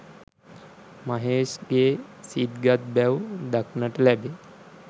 මහේෂ්ගේ සිත් ගත් බැව් දක්නට ලැබේ